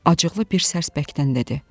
Acıqlı bir sərsbəkdən dedi.